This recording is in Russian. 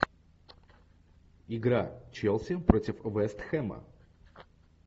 игра челси против вест хэма